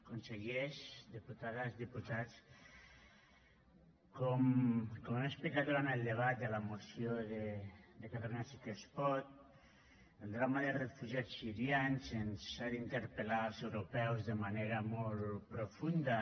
consellers diputades diputats com he explicat durant el debat de la moció de catalunya sí que es pot el drama dels refugiats sirians ens ha d’interpellar als europeus de manera molt profunda